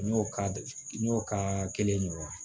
N y'o ka n y'o ka kelen ɲɔgɔn la